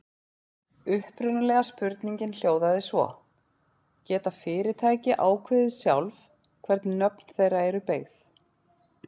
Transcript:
Upprunalega spurningin hljóðaði svo: Geta fyrirtæki ákveðið sjálf hvernig nöfn þeirra eru beygð?